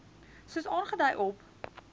soos aangedui op